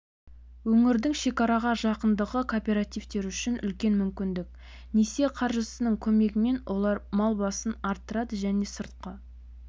өңірдің шекараға жақындығы кооперативтер үшін үлкен мүмкіндік несие қаржысының көмегімен олар мал басын арттырады және сыртқы